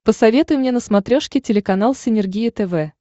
посоветуй мне на смотрешке телеканал синергия тв